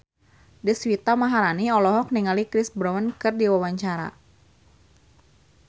Deswita Maharani olohok ningali Chris Brown keur diwawancara